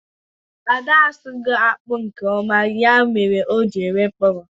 Ada asụghi akpu nke oma, ya mere o ji nwee mkpụrụ